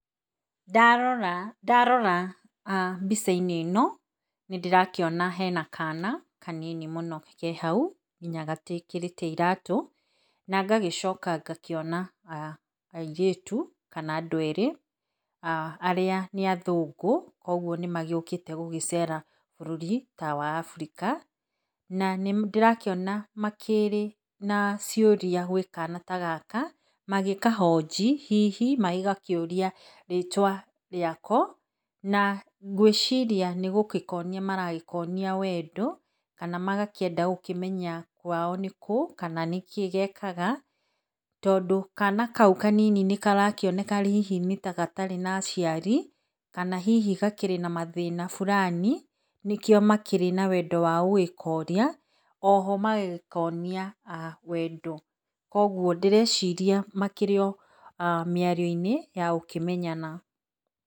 Ndarora ndarora mbica-inĩ ĩno nĩ ndĩrakĩona hena kana kanini mũno ke hau nginya gatiĩkĩrĩte iratũ, na ngagĩcoka ngakĩona airĩtu, kana andũ erĩ arĩa nĩ athũngũ koguo nĩ magĩũkĩte gũgĩcera bũrũri ta wa Africa. Na nĩ ndĩrakĩona makĩrĩ na ciũria gwĩ kana ta gaka magĩkahoji hihi magĩgakĩũria rĩtwa rĩako. Na ngwĩciria nĩ gũgĩkonia maragĩkonia wendo, kana magakĩenda gũkĩmenya kwao nĩ kũũ, kana nĩ kĩĩ gekaga, tondũ kana kau kanini nĩ karakĩoneka hihi ta gatarĩ na aciari, kana hihi gakĩrĩ na mathĩna burani nĩkĩo makĩrĩ na wendo wa gũgĩkonia, oho magagĩkonia wendo. Koguo ndĩreciria makĩrĩ o mĩario-inĩ ya gũkĩmenyana.